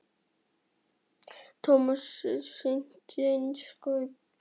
Edda Andrésdóttir: Tómas, er stemningin eins og búast má við?